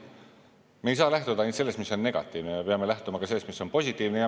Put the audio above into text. Me ei saa lähtuda ainult sellest, mis on negatiivne, vaid peame lähtuma ka sellest, mis on positiivne.